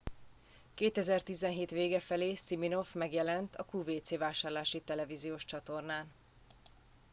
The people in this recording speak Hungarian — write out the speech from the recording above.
2017 vége felé siminoff megjelent a qvc vásárlási televíziós csatornán